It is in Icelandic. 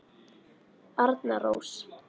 Arna Rós.